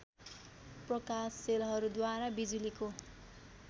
प्रकाश सेलहरूद्वारा बिजुलीको